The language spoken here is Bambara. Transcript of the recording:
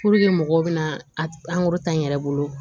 mɔgɔw bɛna a ta n yɛrɛ bolo